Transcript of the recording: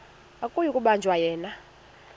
akuyi kubanjwa yena